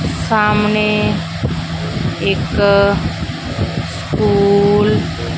ਸਾਹਮਣੇ ਇੱਕ ਸਕੂਲ --